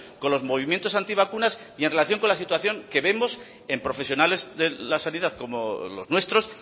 con los movimientos anti vacunas y en relación con la situación que vemos en profesionales de la sanidad como los nuestros